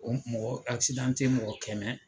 O mɔgɔ mɔgɔ kɛmɛ.